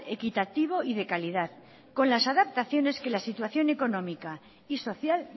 equitativo y de calidad con las adaptaciones que la situación económica y social